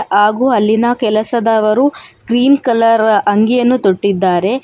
ಹಾಗು ಅಲ್ಲಿನ ಕೆಲಸದವರು ಗ್ರೀನ್ ಕಲರ್ ಅಂಗಿಯನ್ನು ತೊಟ್ಟಿದಾರೆ.